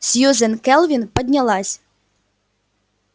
сьюзен кэлвин поднялась